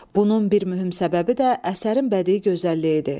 Bunun bir mühüm səbəbi də əsərin bədii gözəlliyidir.